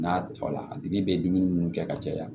N'a tɔ la a tigi bɛ dumuni minnu kɛ ka caya